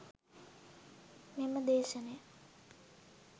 මෙම දේශනය